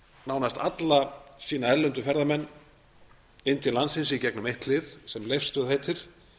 nánast alla sína erlendu ferðamenn inn til landsins í gegnum eitt hlið sem leifsstöð heitir